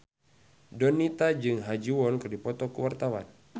Donita jeung Ha Ji Won keur dipoto ku wartawan